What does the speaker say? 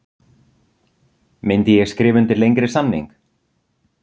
Myndi ég skrifa undir lengri samning?